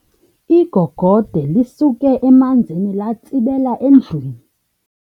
Igogode lisuke emanzini latsibela endlwini.